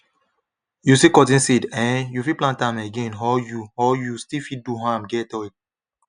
you see cotton seed eh you fit plant am again or you or you still fit do am get oil